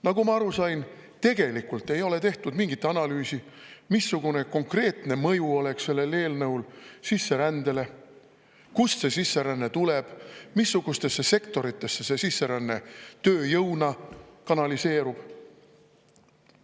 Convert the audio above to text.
Nagu ma aru sain, tegelikult ei ole tehtud mingit analüüsi, missugune konkreetne mõju oleks sellel eelnõul sisserändele, kust see sisseränne tuleb, missugustesse sektoritesse see sisseränne tööjõuna kanaliseerub.